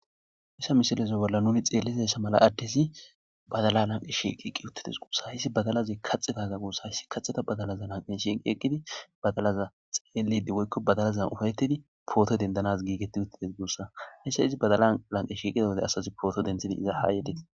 Missha misilezo bolla nuni xeellizasha mala addezi badala lanqe shieqiqqi uttides guusa hhissi badalazi kaxetaza guussa hissi kaxeta badalaza lanqe shiqqi eqqidi badalaza xeelidi woykko badalazan ufayetidi pooto dendanaz giigetti uttides guussa hisha izi badala lanqe shiiqida wode asazi pooto denthidi iza haayedees.